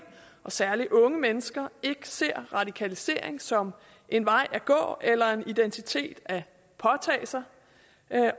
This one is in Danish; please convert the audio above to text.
og særlig unge mennesker ikke ser radikalisering som en vej at gå eller en identitet at påtage sig